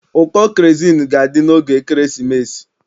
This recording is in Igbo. Ụkọ kerozini ga-adị n'oge ekeresimesi